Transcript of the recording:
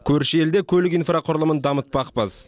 көрші елде көлік инфрақұрылымын дамытпақпыз